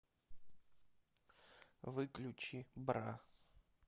выключи бра